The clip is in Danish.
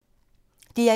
DR1